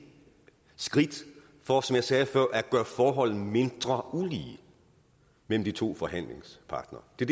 skridt for som jeg sagde før at gøre forholdene mindre ulige mellem de to forhandlingspartnere det